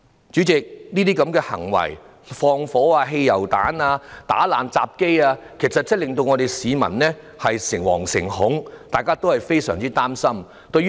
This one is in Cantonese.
主席，這些縱火、投擲汽油彈、打爛入閘機等行為，其實真的令市民誠惶誠恐，大家也非常擔心。